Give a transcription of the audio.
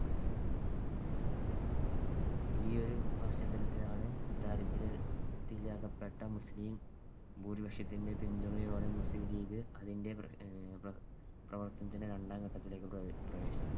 ഈയൊരു പശ്ചാത്തലത്തിലാണ് ദാരിദ്ര്യത്തിൽ അകപ്പെട്ട മുസ്ലിം ഭൂരിപക്ഷത്തിന്‍ടെ പിന്തുണയോടെ മുസ്ലീം ലീഗ് അതിന്‍ടെ പ്രവർത്തനത്തിന്‍ടെ രണ്ടാംഘട്ടത്തിലേക്ക് പ്രവേശിച്ചത്.